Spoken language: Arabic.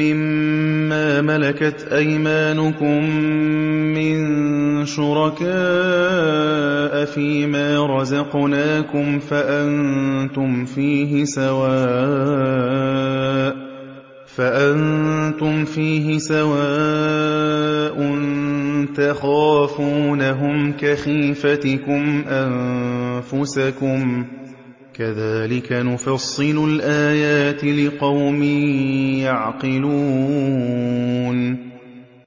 مِّن شُرَكَاءَ فِي مَا رَزَقْنَاكُمْ فَأَنتُمْ فِيهِ سَوَاءٌ تَخَافُونَهُمْ كَخِيفَتِكُمْ أَنفُسَكُمْ ۚ كَذَٰلِكَ نُفَصِّلُ الْآيَاتِ لِقَوْمٍ يَعْقِلُونَ